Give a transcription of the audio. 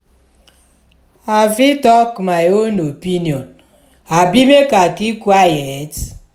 i fit talk my own opinion abi make i keep quiet?